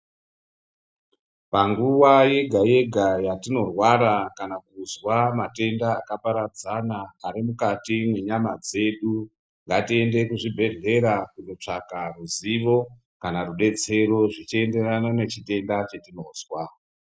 Panguwa yega yega yatinorwara kana kuzwa matenda akaparadzana arimukati menyama dzedu ngatiende kuzvibhehlera kunotsvaka ruzivo kana rudetsero zvichienderana nechitenda chetinozwa